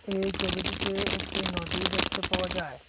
এই ছবিটিতে একটি নদী দেখতে পাওয়া যায়।